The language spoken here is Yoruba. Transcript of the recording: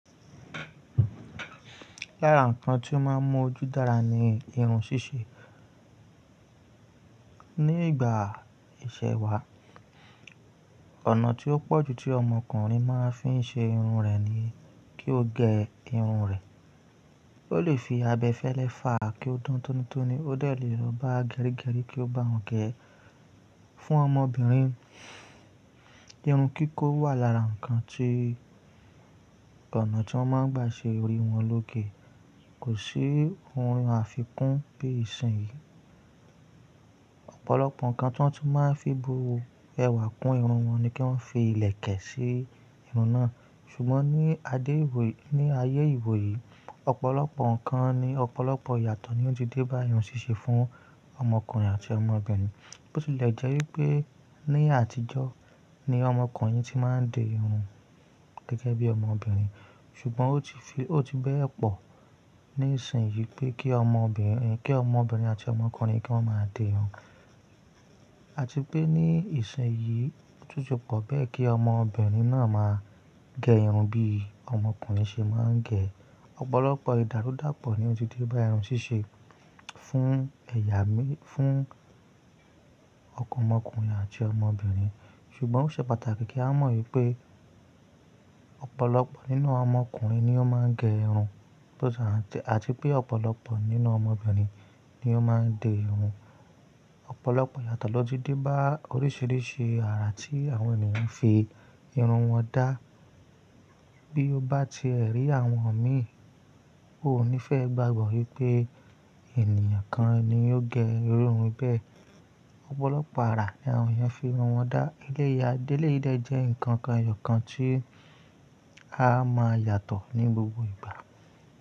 Lára ǹkan tí ó máa ń mú ojú dára ni irun ṣíṣe. Ni ìgbà ìṣẹ̀ wa, ọ̀nà tí ó pọ̀ jù tí ọmọkùnrin máa ń fi ṣe irun rẹ̀ ni kí ó gẹ irun rẹ̀. Ó lè fi abẹfẹ́lẹ́ fàá kí ó dán tónítóní, ó de lèwa rọba gẹrígẹrí kí ó bá won gẹ. Fún ọmọbìnrin, irun kíkó wà lára ǹkan tí ọ̀nà tí wọ́n máa ń gbà ṣe orí wọn lóge. Kò sí ohun àfikún bí ìṣìn yìí. Ọ̀pọ̀lọpọ̀ ǹkan tí wọ́n tun máa ń fi bu ẹwà kún irun wọn ni kí wọ́n fi ìlẹ̀kẹ̀ ṣe irun náà. Ṣùgbọ́n ní ayé ìwò yìí, ọ̀pọ̀lọpọ̀ ǹkan ni ọ̀pọ̀lọpọ̀ ìyàtọ̀ ni ó ti dé bá irun ṣíṣe fún ọmọkùnrin àti ọmọbìnrin. Ó ti lẹ̀ jẹ́ wípé ní àtijọ́ ni ọmọkùnrin tí máa ń dè irun gẹ́gẹ́ bí ọmọbìnrin, ṣùgbọ́n ó ti bẹ́ẹ̀ pọ̀ ní ìsìn yìí pé je kí ọmọbìnrin àti ọmọkùnrin kí wọ́n máa di irun. A ti pé ní ìsìn yìí títún pọ̀ pé kí ọmọbìnrin náà máa gẹ irun bí ọmọkùnrin ṣe máa ń gẹ. Ọ̀pọ̀lọpọ̀ ìdárúdàpọ̀ ni ó ti dé bá irun ṣíṣe fún ọmọkùnrin àti ọmọbìnrin. Ṣùgbọ́n ó ṣe pàtàkì kí á mọ̀ wípé ọ̀pọ̀lọpọ̀ nínú ọmọkùnrin ni ó máa ń gẹ irun àti pé ọ̀pọ̀lọpọ̀ nínú ọmọbìnrin ni ó máa ń dè irun. Ọ̀pọ̀lọpọ̀ ìyàtọ̀ ló ti dé bá oríṣiríṣi àrà tí àwọn ènìyàn fi irun wọn dá. Bí ó bá ti ẹ rí àwọn mi, o ò ní fẹ́ gbàgbọ́ wípé ènìyàn kan ni ó gẹ iru irun bẹ́ẹ̀. Ọ̀pọ̀lọpọ̀ àrà ni àwọn èèyàn fi irun wọn dá. Eléyà éléyì dé jẹ́ ǹkan kan èèyọ̀ kan tí a máa yàtọ̀ ní gbogbo ìgbà.